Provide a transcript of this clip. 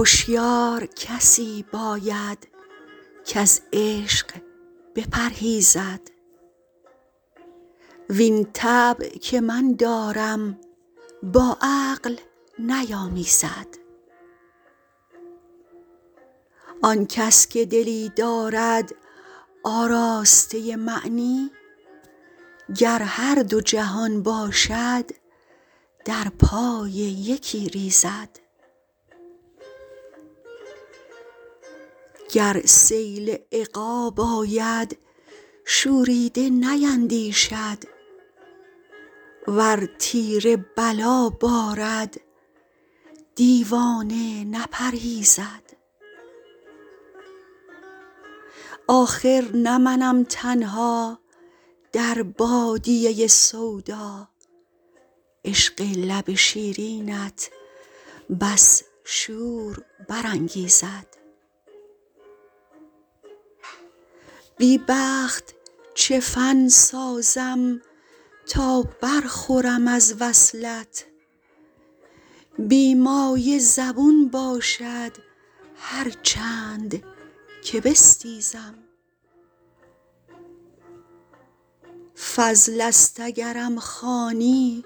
هشیار کسی باید کز عشق بپرهیزد وین طبع که من دارم با عقل نیامیزد آن کس که دلی دارد آراسته معنی گر هر دو جهان باشد در پای یکی ریزد گر سیل عقاب آید شوریده نیندیشد ور تیر بلا بارد دیوانه نپرهیزد آخر نه منم تنها در بادیه سودا عشق لب شیرینت بس شور برانگیزد بی بخت چه فن سازم تا برخورم از وصلت بی مایه زبون باشد هر چند که بستیزد فضل است اگرم خوانی